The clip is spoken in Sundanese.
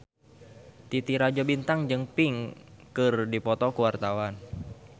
Titi Rajo Bintang jeung Pink keur dipoto ku wartawan